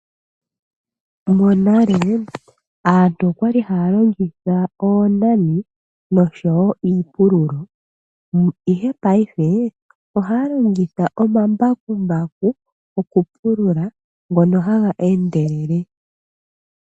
Monale aantu okwali haya longitha oonani nosho wo iipululo, ihe paife ohaya longitha omambakumbaku okupulula ngono haga endelele.